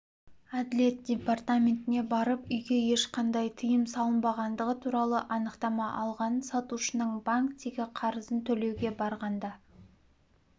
әділет департаментіне барып үйге ешқандай тыйым салынбағандығы туралы анықтама алған сатушының банктегі қарызын төлеуге барғанда